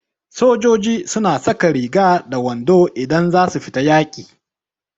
Sojoiji su na saka riga da wando idan za su fita yaƙi